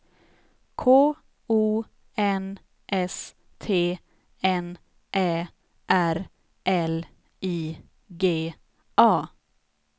K O N S T N Ä R L I G A